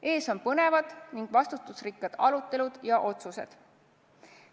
Ees on põnevad ning vastutusrikkad arutelud ja otsused.